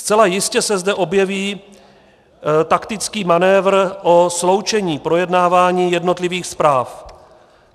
Zcela jistě se zde objeví taktický manévr o sloučení projednávání jednotlivých zpráv.